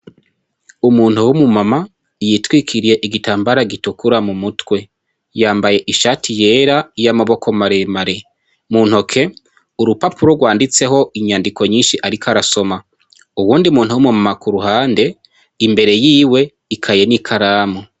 Umuntu w'umu mama yitwikiriye igitambara gitukura mumutwe .Yambaye ishati yera y'amaboko maremare ,muntoke urupapuro rwanditseho inyandiko nyinshi ariko arasoma, uwundi muntu w'umu mama k'uruhande ,imbere yiwe ikaye n'ikaramu.